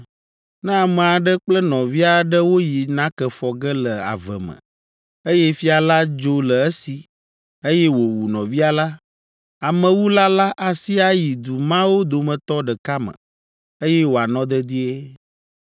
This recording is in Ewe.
Ne ame aɖe kple nɔvia aɖe woyi nake fɔ ge le ave me, eye fia la dzo le esi, eye wòwu nɔvia la, amewula la asi ayi du mawo dometɔ ɖeka me, eye wòanɔ dedie.